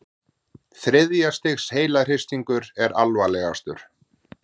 Þriðja stigs heilahristingur er alvarlegastur.